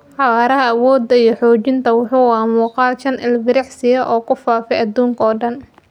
Xawaaraha, awoodda iyo xoojinta: Wuxuu ahaa muuqaal shan ilbiriqsi ah oo ku faafay adduunka oo dhan.